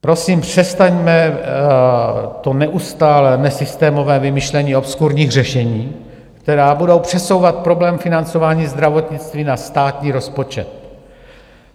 Prosím, přestaňme to neustálé nesystémové vymýšlení obskurních řešení, která budou přesouvat problém financování zdravotnictví na státní rozpočet.